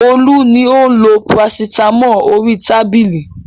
Olú ni ó ń lo parasítámọ̀ orí tábìlì.